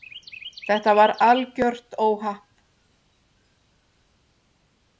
Þetta var algjört óhapp.